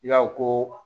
I y'a fɔ ko